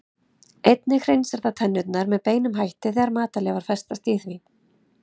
Einnig hreinsar það tennurnar með beinum hætti þegar matarleifar festast í því.